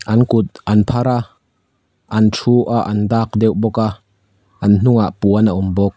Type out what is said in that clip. an kut an phar a a thu a an dak deuh bawk a an hnungah puan a awm bawk.